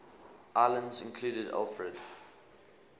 islands included alfred